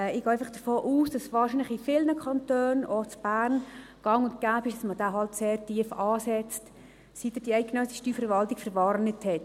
Ich gehe einfach davon aus, dass es wahrscheinlich in vielen Kantonen, auch in Bern, gang und gäbe ist, dass man diesen halt sehr tief ansetzt, seit uns die eidgenössische Verwaltung verwarnt hat.